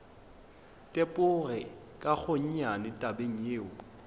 tepoge ka gonnyane tabeng yeo